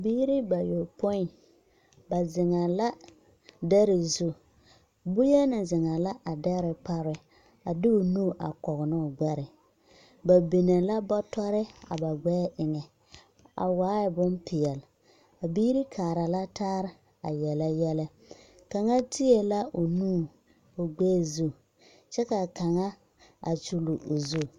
Biiri bayopoi, ba zeŋɛɛ la dɛre zu. Boyenaa zeŋɛɛ la a dɛre pare a de o nu a kɔge ne o gbɛre. Ba binee la Bɔtɔre a ba gbɛɛ eŋɛ, a waae bompeɛl. A Biiri kaara la taare a yɛlɛ yɛlɛ. Kaŋa tiee la o nuŋ o gbɛɛ zu. Kyɛ kaa kaŋa a kyul o zu.